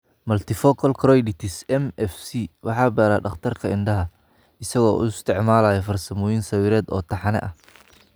Multifocal choroiditis (MFC) waxaa baara dhakhtarka indhaha, isaga oo isticmaalaya farsamooyin sawireed oo taxane ah.